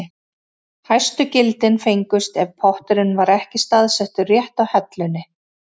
Hæstu gildin fengust ef potturinn var ekki staðsettur rétt á hellunni.